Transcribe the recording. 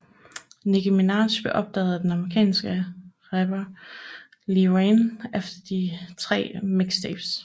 Nicki Minaj blev opdaget af den amerikanske rapper Lil Wayne efter de tre mixtapes